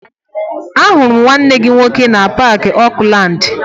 Ahụrụ m nwanne gị nwoke na Paakị Okulaandị